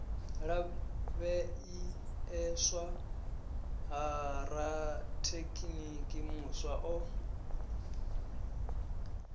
lavheieswa ha rathekiniki muswa o